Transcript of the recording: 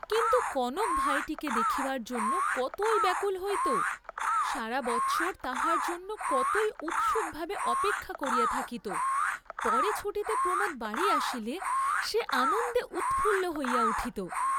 কিন্তু কনক ভাইটিকে দেখিবার জন্য কতই ব্যাকুল হইত, সারা বৎসর তাহার জন্য কতই উৎসুকভাবে অপেক্ষা করিয়া থাকিত, পরে ছুটিতে প্রমোদ বাড়ী আসিলে সে আনন্দে উৎফুল্ল হইয়া উঠিত।